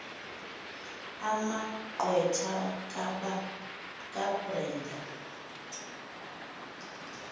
ama gqwetha kabrenda